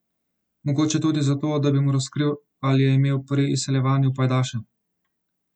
Mogoče tudi zato, da bi mu razkril, ali je imel pri izseljevanju pajdaša.